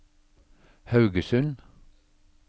Haugesund